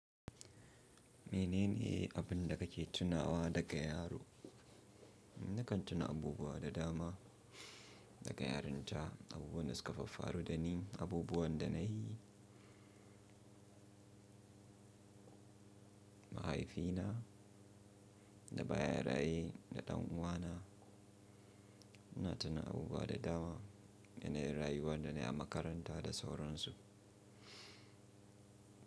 Mene ne abin da kake tunawa daga yaro? Na kan tuna abubuwa da dama daga yarinta, abubuwan da suka faffaru da ni, abubuwan da na yi. Mahaifina da baya raye da ɗan uwa na, ina tuna abubuwa da dama da na yi rayuwa da nayi a makaranta da sauransu.